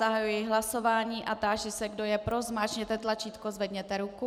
Zahajuji hlasování a táži se, kdo je pro, zmáčkněte tlačítko, zvedněte ruku.